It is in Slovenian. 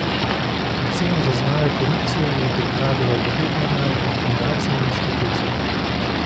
Oceno zaznave korupcije je pripravilo devet mednarodnih fundacij in inštitucij.